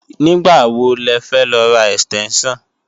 Nígbàwo lẹfẹ́ lọ ra ẹ̀stẹ́ńṣàn?